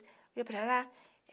Fui para lá.